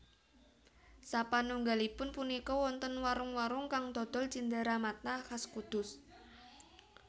Sapanunggalipun punika wonten warung warung kang dodol cinderamata khas Kudus